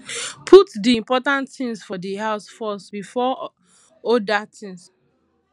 put di important things for di house first before oda things